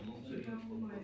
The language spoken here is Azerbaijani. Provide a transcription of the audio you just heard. sizdə qoymayan vaxt yoxdur?